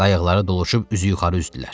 Qayıqları dolaşıb üzü yuxarı üzdülər.